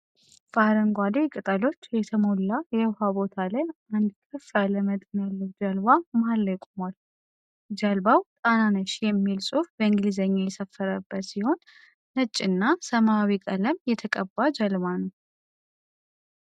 በአረንጓዴ ቅጠሎች የተሞላ የዉሃ ቦታ ላይ አንድ ከፍ ያለ መጠን ያለው ጀልባ መሃል ላይ ቆሟል። ጀልባው "ጣናነሽ" የሚል ጽሁፍ በእንግሊዘኛ የሰፈረበት ሲሆን ነጭ እና ሰመያዊ ቀለም የተቀባ ጀልባ ነው።